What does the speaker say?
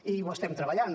i ho estem treballant